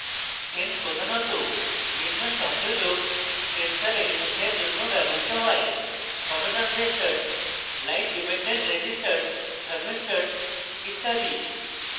sen প্রধানত নিম্ন সংযোজক sensor elements জন্য ব্যবহৃত হয়